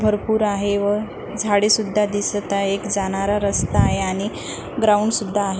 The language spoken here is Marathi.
भरपूर आहे व झाडे सुद्धा दिसत आहेत एक जाणारा रस्ता सुद्धा दिसत आहे ग्राउंड सुद्धा आहे.